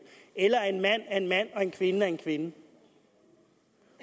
eller at en mand er en mand og en kvinde er en kvinde